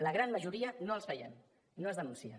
la gran majoria no els veiem no es denuncien